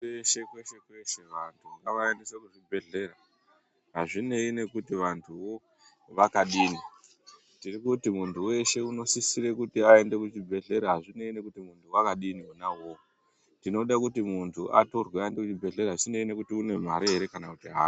Kweshe kweshe kweshe vantu ngavaendeswe kuzvibhibhedhera hazvinei nekuti vantuvo vakadini. Tirikuti muntu veshe unosisira kuti aende kuchibhedhlera hazvinei nekuti muntu vakadini ona ivovo. Tinogakuti muntu atorwe aende kuchibhedhlera zvisinei nekuti ane mare ere kana kuti haana.